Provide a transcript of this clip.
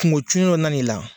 Kungo cunnen dɔ nan'i la.